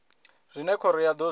zwine khoro ya do zwi